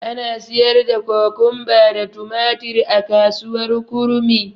Ana siyar da Kokomba da tumatir a kasuwar kurmi.